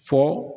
Fɔ